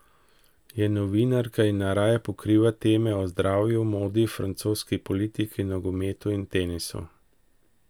Je novinarka in najraje pokriva teme o zdravju, modi, francoski politiki, nogometu in tenisu.